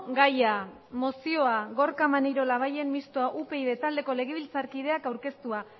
gaia mozioa gorka maneiro labayen mistoa upyd taldeko legebiltzarkideak aurkeztua